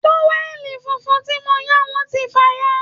Táwẹ̀lì funfun tí mo yá wọ́n ti fàya